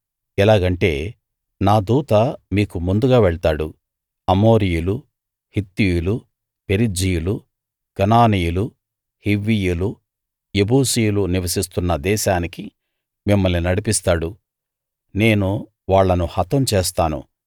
ఎలాగంటే నా దూత మీకు ముందుగా వెళ్తాడు అమోరీయులు హిత్తీయులు పెరిజ్జీయులు కనానీయులు హివ్వీయులు యెబూసీయులు నివసిస్తున్న దేశానికి మిమ్మల్ని నడిపిస్తాడు నేను వాళ్ళను హతం చేస్తాను